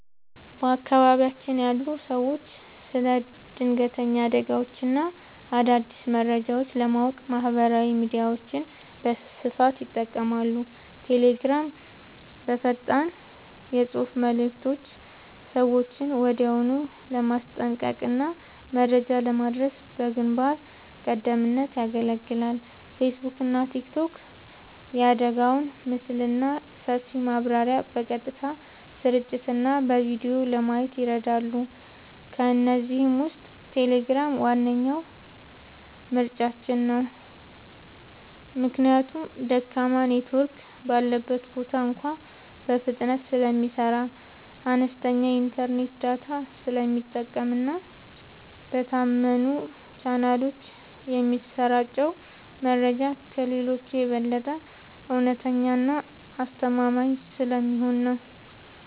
በአካባቢያችን ያሉ ሰዎች ስለ ድንገተኛ አደጋዎችና አዳዲስ መረጃዎች ለማወቅ ማህበራዊ ሚዲያዎችን በስፋት ይጠቀማሉ። ቴሌግራም፦ በፈጣን የፅሁፍ መልዕክቶች ሰዎችን ወዲያውኑ ለማስጠንቀቅና መረጃ ለማድረስ በግንባር ቀደምትነት ያገለግላል። ፌስቡክና ቲክቶክ፦ የአደጋውን ምስልና ሰፊ ማብራሪያ በቀጥታ ስርጭትና በቪዲዮ ለማየት ይረዳሉ። ከእነዚህ ውስጥ ቴሌግራም ዋነኛ ምርጫችን ነው። ምክንያቱም ደካማ ኔትወርክ ባለበት ቦታ እንኳ በፍጥነት ስለሚሰራ፣ አነስተኛ የኢንተርኔት ዳታ ስለሚጠቀምና በታመኑ ቻናሎች የሚሰራጨው መረጃ ከሌሎቹ የበለጠ እውነተኛና አስተማማኝ ስለሚሆን ነው።